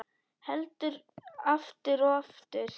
Heldur aftur og aftur.